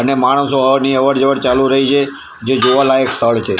અને માણસો અવર ની અવર જવર ચાલુ રેઇ છે જે જોવા લાયક સ્થળ છે.